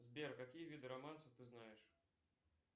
сбер какие виды романсов ты знаешь